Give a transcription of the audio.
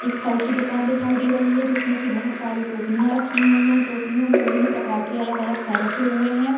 एक फल की दुकान दिखाई दे रही है जिसमें की बहुत सारी टोकरियाँ रखी हुई हैं उन टोकरियों में विभिन्न प्रकार के अलग-अलग फल रखे हुए हैं।